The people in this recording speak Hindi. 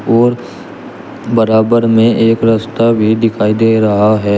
और बराबर में एक रस्ता भी दिखाई दे रहा है।